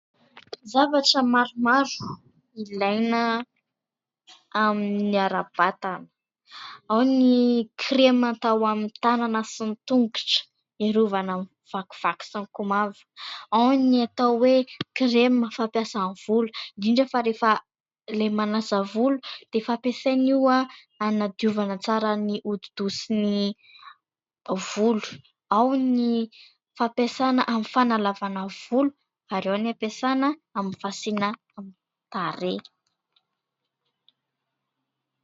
Zavatra maromaro ilaina amin'ny ara-batana , ao ny kirema atao amin'ny tànana sy ny tongotra , hiarovana amin'ny vakivaky sy ny komavoka , ao ny atao hoe : kirema fampiasa amin'ny volo, indrindra fa rehefa ilay manasa volo dia efa hampiasaina io hanadiovana tsara ny hodi- doha sy ny volo, ao ny fampiasana amin'ny fanalavana volo, ary ao ny hampiasaina amin'ny fasiana tarehy.